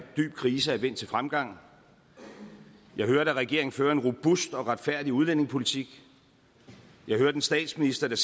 dyb krise er vendt til fremgang jeg hørte at regeringen fører en robust og retfærdig udlændingepolitik jeg hørte en statsminister der